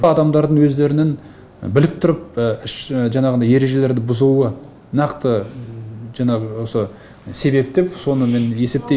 адамдардың өздерінің біліп тұрып жаңағыдай ережелерді бұзуы нақты жаңағы осы себеп деп соны мен есептеймін